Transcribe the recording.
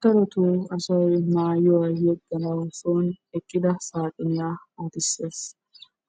Darotoo asay soon yeeganawu eqqida saaxiniyaa ootisees.